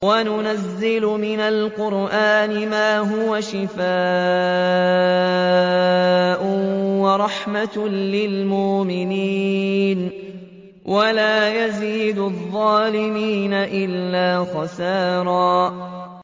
وَنُنَزِّلُ مِنَ الْقُرْآنِ مَا هُوَ شِفَاءٌ وَرَحْمَةٌ لِّلْمُؤْمِنِينَ ۙ وَلَا يَزِيدُ الظَّالِمِينَ إِلَّا خَسَارًا